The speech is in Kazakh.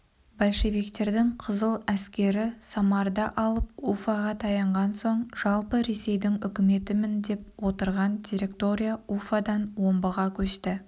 большевиктердің қызыл әскері самарды алып уфаға таянған соң жалпы ресейдің үкіметімін деп отырған директория уфадан омбыға көшті